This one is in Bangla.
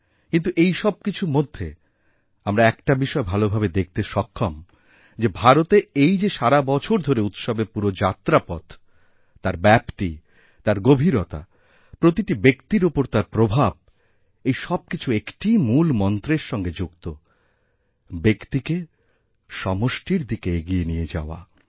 কিন্তু এই সবকিছুমধ্যে আমরা একটা বিষয় ভালোভাবে দেখতে সক্ষম যে ভারতে এই যে সারাবছর ধরে উৎসবেরপুরো যাত্রাপথ তার ব্যপ্তি তার গভীরতা প্রতিটি ব্যক্তির ওপর তার প্রভাব এইসবকিছু একটিই মূল মন্ত্রের সঙ্গে যুক্ত ব্যক্তিকে সমষ্টির দিকে এগিয়ে নিয়ে যাওয়া